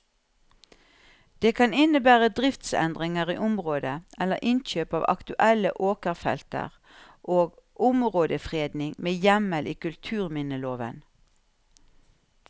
Det kan innebære driftsendringer i området eller innkjøp av aktuelle åkerfelter og områdefredning med hjemmel i kulturminneloven.